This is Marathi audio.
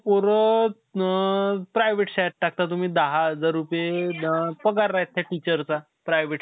आता आपण, ते नाई सांगू शकत का पठाण टू कधी येणारे. ते last मधी नाई का शाहरुख खान आणि सलमान खान train पटरी वर बसते. तिथं नाई का ते बोलणं करते.